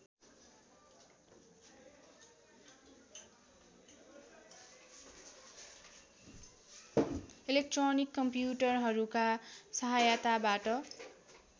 electronic कम्प्युटरहरूका सहायताबाट